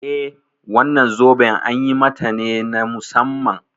Eh wannan zoben an yi mata ne na musamman.